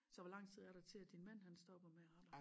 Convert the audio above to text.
Så hvor lang tid er til at din mand hans stopper med at arbejde?